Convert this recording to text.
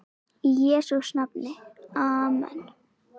Í Jesú nafni amen.